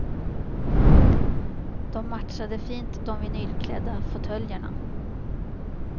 De matchade fint de vinylklädda fåtöljerna.